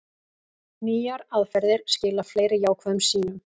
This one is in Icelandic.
Nýjar aðferðir skila fleiri jákvæðum sýnum